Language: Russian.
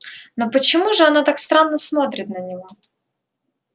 но почему же она так странно смотрит на него